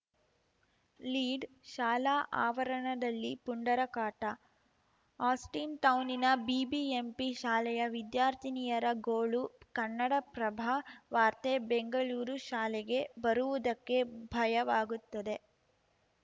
ಲೀಡ್‌ಶಾಲಾ ಆವರಣದಲ್ಲಿ ಪುಂಡರ ಕಾಟ ಆಸ್ಟಿನ್‌ಟೌನಿನ ಬಿಬಿಎಂಪಿ ಶಾಲೆಯ ವಿದ್ಯಾರ್ಥಿನಿಯರ ಗೋಳು ಕನ್ನಡಪ್ರಭ ವಾರ್ತೆ ಬೆಂಗಳೂರು ಶಾಲೆಗೆ ಬರುವುದಕ್ಕೆ ಭಯವಾಗುತ್ತದೆ